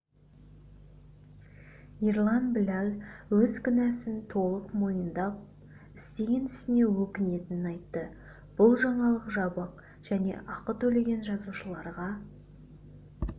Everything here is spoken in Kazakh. ерлан біләл өз кінәсін толық мойындап істеген ісіне өкінетінін айтты бұл жаңалық жабық және ақы төлеген жазылушыларға